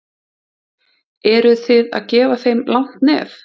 Eruð þið að gefa þeim langt nef?